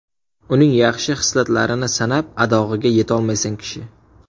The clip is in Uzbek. Uning yaxshi hislatlarini sanab adog‘iga yetolmaysan kishi.